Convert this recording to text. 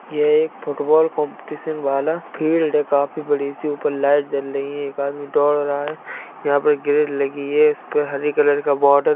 यह एक football competition वाला फिल्ड काफी बड़ी सी ऊपर लाइट जल रही है एक आदमी दौड़ लगा रहा है| यहां पर ग्रिल लगी है इस पर हरी कलर का बॉर्डर --